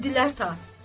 Bildilər ta.